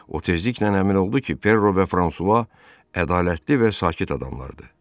O tezliklə əmin oldu ki, Perro və Fransua ədalətli və sakit adamlardır.